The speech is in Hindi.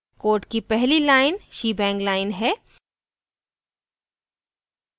code की पहली line shebang line है